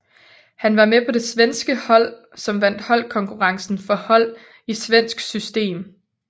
Han var med på det svenske hold som vandt holdkonkurrencen for hold i svensk system